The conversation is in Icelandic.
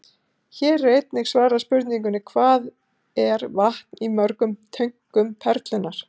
Hér er einnig svarað spurningunni: Hvað er vatn í mörgum tönkum Perlunnar?